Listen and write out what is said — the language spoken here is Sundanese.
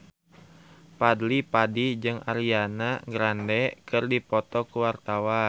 Fadly Padi jeung Ariana Grande keur dipoto ku wartawan